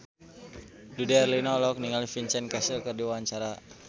Dude Herlino olohok ningali Vincent Cassel keur diwawancara